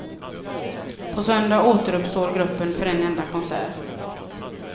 På söndag återuppstår gruppen för en enda konsert.